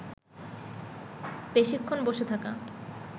বেশিক্ষণ বসে থাকা